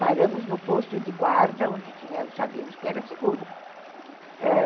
Paramos no posto de guarda, onde sabíamos que era seguro.